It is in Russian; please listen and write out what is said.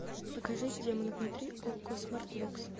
покажи демон внутри окко смарт бокс